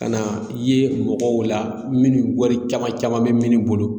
Ka na ye mɔgɔw la minnu wari caman bɛ minnu bolo.